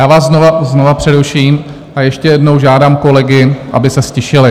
Já vás znovu přeruším a ještě jednou žádám kolegy, aby se ztišili.